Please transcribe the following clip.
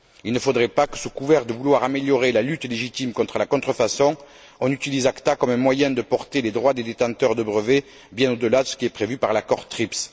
Il ne faudrait pas que, sous couvert de vouloir améliorer la lutte légitime contre la contrefaçon, on utilise l'ACTA comme un moyen de porter les droits des détenteurs de brevet bien au delà de ce qui est prévu par l'accord TRIPS.